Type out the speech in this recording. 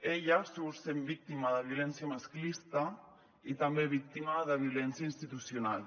ella surt sent víctima de violència masclista i també víctima de violència institucional